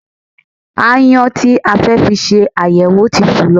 Aáyán tí a fẹ́ fi ṣe àyẹ̀wò ti fò lọ